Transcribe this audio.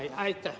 Aitäh!